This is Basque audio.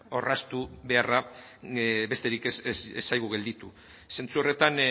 orraztu beharra besterik ez zaigu gelditu zentzu horretan